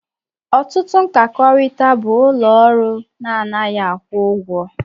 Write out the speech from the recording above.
Ọtụtụ mkpakọrịta bụ ụlọ ọrụ na anaghị akwụ ụgwọ